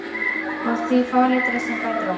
Og því fráleitara sem fjær dró.